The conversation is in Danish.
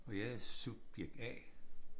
Og jeg er subjekt A